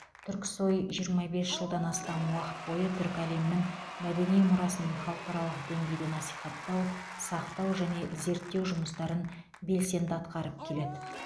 түрксой жиырма бес жылдан астам уақыт бойы түркі әлемінің мәдени мұрасын халықаралық деңгейде насихаттау сақтау және зерттеу жұмыстарын белсенді атқарып келеді